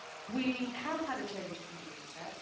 We have had a change of mindset.